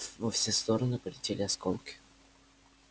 во все стороны полетели осколки